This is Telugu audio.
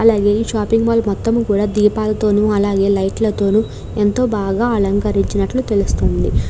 అలాగే ఈ షాపింగ్ మాల్ మొత్తం కూడా దీపాల తోను అలాగే లైట్ ల తోను ఎంతో బాగా అలంకరించినట్టు తెలుస్తుంది.